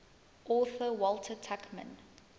author walter tuchman